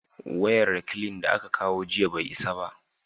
wayan reklin da aka kawo jiya bai isa ba